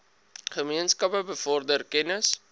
gemeenskappe bevorder kennis